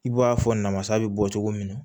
I b'a fɔ namasa bɛ bɔ cogo min na